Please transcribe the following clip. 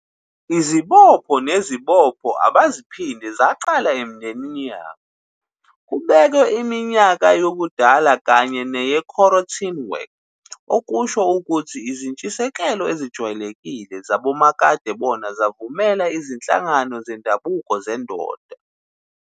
Izibopho nezibopho abaziphinde zaqala emindenini yabo, kubekwe iminyaka yobudala kanye ne-korotinwek okusho ukuthi izintshisekelo ezijwayelekile "zabomakadebona zavumela izinhlangano zendabuko zendoda."